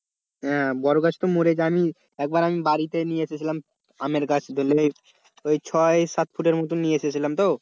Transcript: হ্যাঁ বড় গাছ তো মরে জানি একবার আমি বাড়িতে নিয়ে এসেছিলাম আমের গাছ ধরলে ওই ছয় সাত ফুটের মতো নিয়ে এসেছিলাম তো,